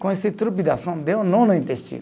Com esse deu um nó no intestino.